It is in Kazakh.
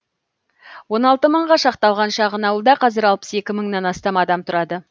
он алты мыңға шақталған шағын ауылда қазір алпыс екі мыңнан астам адам тұрады